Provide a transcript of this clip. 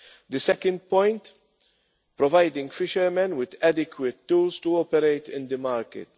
The second point providing fishermen with adequate tools to operate in the market.